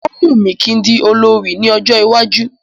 Ó wùmí kí n di olorì ní ọjọ́ iwájú